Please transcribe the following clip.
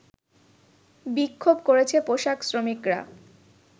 বিক্ষোভ করেছে পোশাক শ্রমিকরা